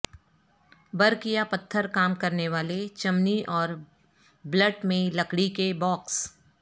برک یا پتھر کام کرنے والے چمنی اور بلٹ میں لکڑی کے باکس